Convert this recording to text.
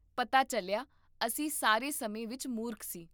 ਪਤਾ ਚੱਲਿਆ, ਅਸੀਂ ਸਾਰੇ ਸਮੇਂ ਵਿੱਚ ਮੂਰਖ ਸੀ,